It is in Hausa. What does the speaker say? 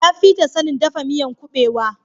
Ya fi ta sanin dafa miyan kubewa